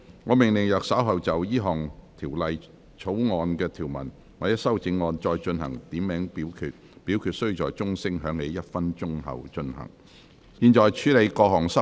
我命令若稍後就本條例草案的條文或其修正案進行點名表決，表決須在鐘聲響起1分鐘後進行。